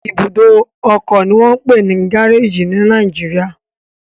Ibùdó ọkọ ni wọ́n ń pè ní gáréèjì ní Nàìjíríà